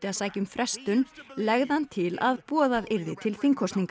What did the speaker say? sækja um frestun legði hann til að boðað yrði til þingkosninga